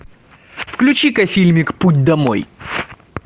включи ка фильмик путь домой